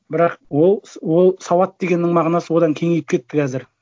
бірақ ол сауат дегеннің мағынасы одан кеңейіп кетті қазір